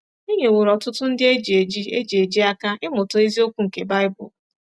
E nyeworo ọtụtụ ndị e ji eji e ji eji aka ịmụta eziokwu nke baịbụl.